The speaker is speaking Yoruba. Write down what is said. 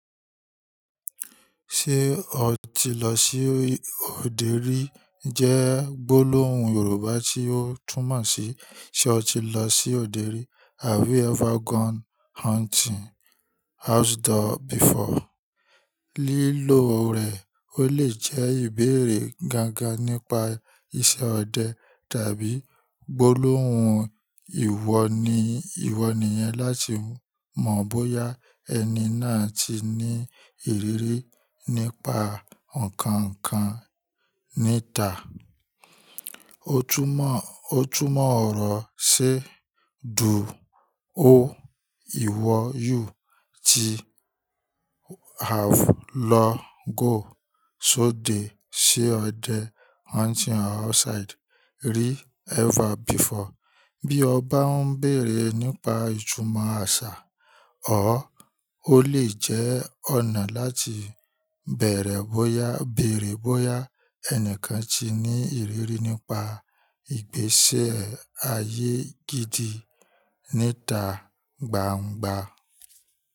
Ṣé o ti lọ sí òde rí jẹ́ gbólóhùn Yorùbá tí ó túmọ̀ sí "Ṣé o ti lọ sí òde rí" "Have you ever gone hunting outdoor before?" Lílo rẹ̀ ó lè jẹ́ ìbéèrè gangan nípa iṣẹ́ ọdẹ tàbí gbólóhùn ìwọ ní ìwọ nìyẹn láti mọ̀ bóyá ẹni náà ti ní ìrírí nípa ọ̀kankan níta. Ó túmọ̀ ọ̀rọ̀ sí "Do o ìwọ you ti have lọ go sóde sí ọdẹ hunting outside rí ever before?" Bí ó bá ń béèrè nípa ìtúmọ̀ àṣà or ó lè jẹ́ ọ̀nà láti bèèrè bóyá béèrè bóyá ẹnìkan ti ní ìrírí nípa ìgbési ayé gidi níta gbangba.